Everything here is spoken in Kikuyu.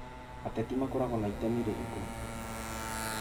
ateti makoragwo na itemi rĩrĩkũ?